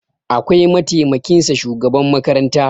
akwai mataimakinsa shugaban makaranta